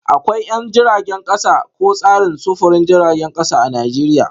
Akwai 'yan jiragen kasa ko tsarin sufurin jiragen kasa a Najeriya